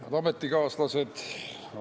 Head ametikaaslased!